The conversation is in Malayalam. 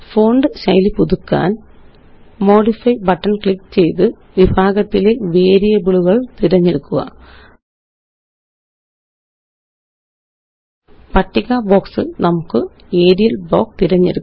ഫോണ്ട് ശൈലി പുതുക്കാന്Modify ബട്ടൺ ക്ലിക്ക് ചെയ്ത് വിഭാഗത്തിലെ വേരിയബിളുകള് തിരഞ്ഞെടുക്കുക